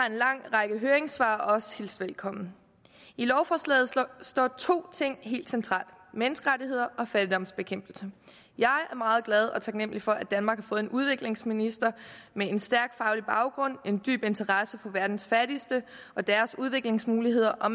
en lang række høringssvar også har hilst velkommen i lovforslaget står to ting helt centralt menneskerettigheder og fattigdomsbekæmpelse jeg er meget glad og taknemmelig for at danmark har fået en udviklingsminister med en stærk faglig baggrund en dyb interesse for verdens fattigste og deres udviklingsmuligheder og